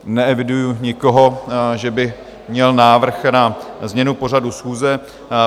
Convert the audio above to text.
Neeviduji nikoho, že by měl návrh na změnu pořadu schůze.